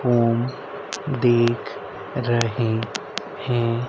हम देख रहे हैं।